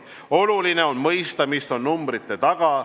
Oluline on mõista, mis on numbrite taga.